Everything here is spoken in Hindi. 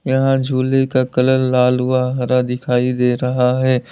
यहां झूले का कलर लाल व हरा दिखाई दे रहा है।